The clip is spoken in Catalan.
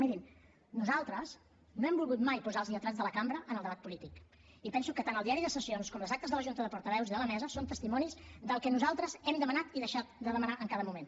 mirin nosaltres no hem volgut mai posar els lletrats de la cambra en el debat polític i penso que tant el diari de sessions com les actes de la junta de portaveus i de la mesa són testimonis del que nosaltres hem demanat i deixat de demanar en cada moment